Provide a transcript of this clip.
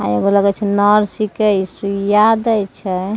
एगो लगय छै नर्स छीके इ सुइया दे छै ।